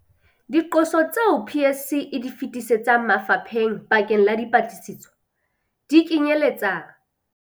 Diqoso tseo PSC e di feti setsang mafapheng bakeng la dipatlisiso, di kenyeletsa.